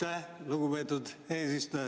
Aitäh, lugupeetud eesistuja!